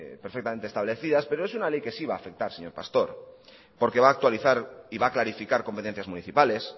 perfectamente establecidas pero es una ley que sí va a afectar señor pastor porque va actualizar y va a clarificar competencias municipales